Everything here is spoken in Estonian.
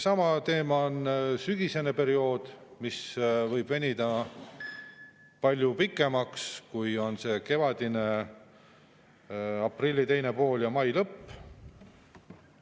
Sama teema on sügisese perioodiga, mis võib venida palju pikemaks, kui on see kevadine, aprilli teine pool kuni mai lõpp.